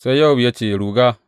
Sai Yowab ya ce, Ruga!